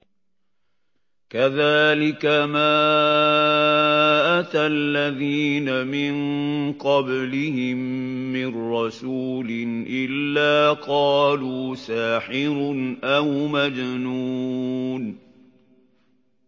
كَذَٰلِكَ مَا أَتَى الَّذِينَ مِن قَبْلِهِم مِّن رَّسُولٍ إِلَّا قَالُوا سَاحِرٌ أَوْ مَجْنُونٌ